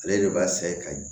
Ale de b'a sɛ ka ɲɛ